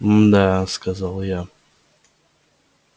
мдаа сказала я